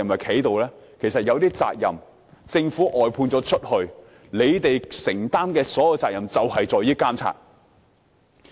其實，政府外判一些服務後，你們須承擔的所有責任便是監察。